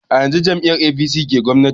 A yanzun jam'iyar apc ke da gwamnati